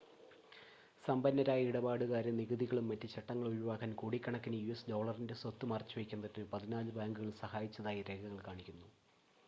സമ്പന്നരായ ഇടപാടുകാരെ നികുതികളും മറ്റ് ചട്ടങ്ങളും ഒഴിവാക്കാൻ കോടിക്കണക്കിന് യുഎസ് ഡോളറിൻ്റെ സ്വത്ത് മറച്ചുവയ്ക്കുന്നതിന് പതിനാല് ബാങ്കുകൾ സഹായിച്ചതായി രേഖകൾ കാണിക്കുന്നു